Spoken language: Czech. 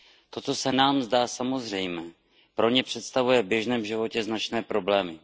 To, co se nám zdá samozřejmé, pro ně představuje v běžném životě značné problémy.